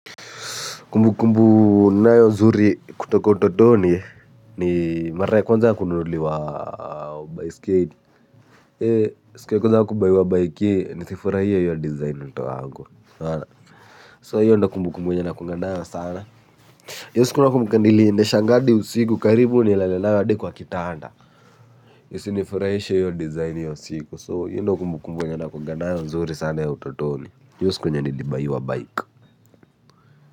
Kumbu kumbu ninayo nzuri kutoka utotoni ni mara ya kwanza ya kununuliwa baiskeli. Siku ya kwanza kubayiwa bike hii nisifurahie hiyo design mtu wangu! So hiyo ndo kumbu kumbu yenye nakuanga nayo sana. Hiyo siku nakumbuka niliendeshanga adi usiku karibu nilale nayo hadi kwa kitanda. Isifurahishe hiyo design hiyo siku So hiyo ndo kumbu kumbu nakuwanga nayo nzuri sana ya utotoni huyo siku yenye nilibayiwa bike.